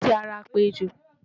Aràn fi ara pẹ́ ejò.